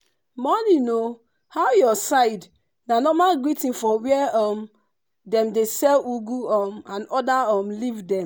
morning o how your side?” na normal greeting for where um dem dey sell ugu um and other um leaf dem